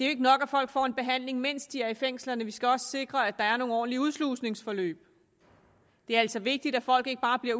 er nok at folk får en behandling mens de er i fængslerne vi skal også sikre at der er nogle ordentlige udslusningsforløb det er altså vigtigt at folk ikke bare bliver